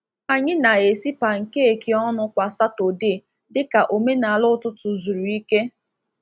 Anyị na-esi pankeeki ọnụ kwa Satọdee dịka omenala ụtụtụ zuru ike.